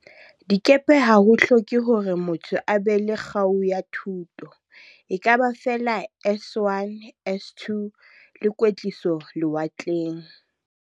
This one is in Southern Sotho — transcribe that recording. dikepe ha ho hloke hore motho a be le kgau ya thuto, ekaba feela S1, S2 le kwetliso lewatleng.